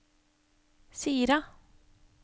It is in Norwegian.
Sira